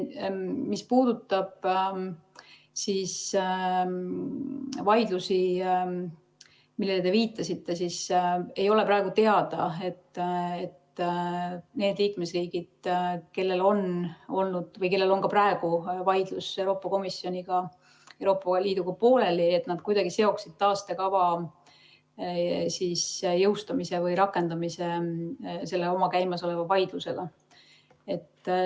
Mis puudutab vaidlusi, millele te viitasite, siis praegu ei ole teada, et need liikmesriigid, kellel on olnud või kellel on praegu vaidlus Euroopa Komisjoniga, Euroopa Liiduga pooleli, kuidagi seoksid taastekava jõustumise või rakendamise selle käimasoleva vaidlusega.